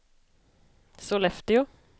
Sollefteå